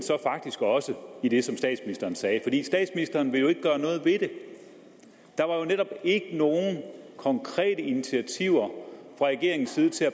faktisk også med det som statsministeren sagde statsministeren vil jo ikke gøre noget ved det der var jo netop ikke nogen konkrete initiativer fra regeringens side til at